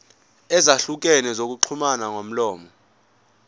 ezahlukene zokuxhumana ngomlomo